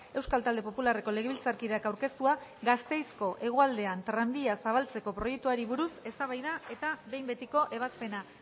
euskal talde popularreko legebiltzarkideak aurkeztua gasteizko hegoaldean tranbia zabaltzeko proiektuari buruz eztabaida eta behin betiko ebazpena